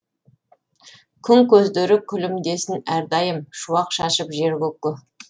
күн көздері күлімдесін әрдайым шуақ шашып жер көкке